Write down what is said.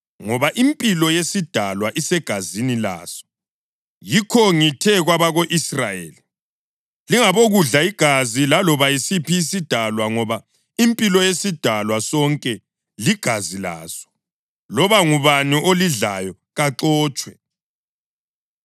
ngoba impilo yesidalwa isegazini laso. Yikho ngithe kwabako-Israyeli, “Lingabokudla igazi laloba yisiphi isidalwa, ngoba impilo yesidalwa sonke ligazi laso; loba ngubani olidlayo kaxotshwe.”